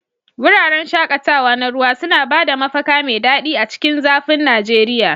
Wuraren shaƙatawa na ruwa suna ba da mafaka mai daɗi a cikin zafin Najeriya.